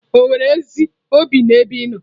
Ò nwere ezi obi n'ebe ị nọ?